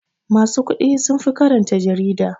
Masu kuɗi sunfi karanta jarida.